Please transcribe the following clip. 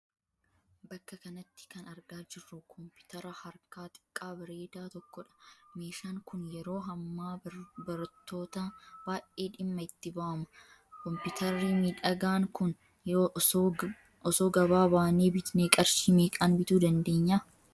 Bakka kanatti kan argaa jirru 'Kompiteera' harkaa xiqqaa bareedaa tokkoodha. Meeshaan kun yeroo hammaa barattootaan baay'ee dhimma itti ba'ama. 'Kompiteerri miidhagaan kun osoo gaba baanee bitnee qarshii meeqaan bituu dandeenya?